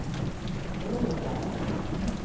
Råda